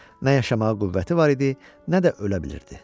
Nə yaşamağa qüvvəti var idi, nə də ölə bilirdi.